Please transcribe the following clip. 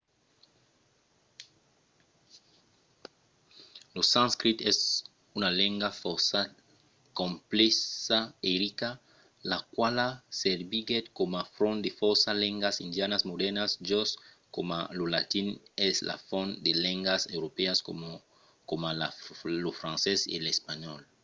lo sanscrit es una lenga fòrça complèxa e rica la quala serviguèt coma font de fòrça lengas indianas modèrnas just coma lo latin es la font de lengas europèas coma lo francés e l’espanhòl